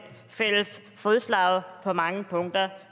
fælles fodslag på mange punkter